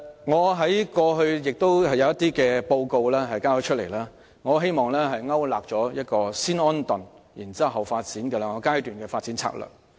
我以往曾提交一些報告，希望勾勒出一項包含"先安頓，後發展"兩個階段的發展策略。